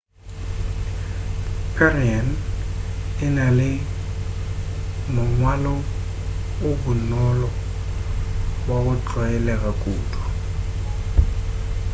perian e na le mongwalo o bonolo wa go tlwaelega kudu